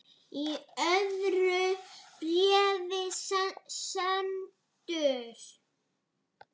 Í öðru bréfi sendur